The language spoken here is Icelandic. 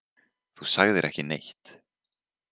Þú sagðir ekki neitt.